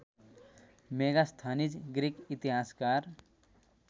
Megasthenes Greek इतिहासकार